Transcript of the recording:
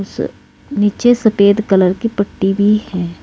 नीचे सफेद कलर की पट्टी भी है।